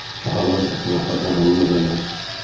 Çahalar ətrafa qaranlıq ələr.